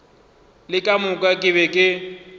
le ka moka ke be